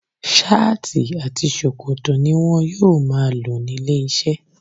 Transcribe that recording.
Ṣáàtì àti ṣòkòtò ni wọn yóò máa lò nílé iṣẹ́.